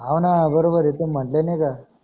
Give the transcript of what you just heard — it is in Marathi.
हव ना बरोबर आहे ते मधले नाही का.